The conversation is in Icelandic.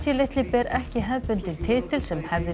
litli ber ekki hefðbundinn titill sem hefðir